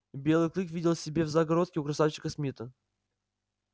белый клык видел себе в загородке у красавчика смита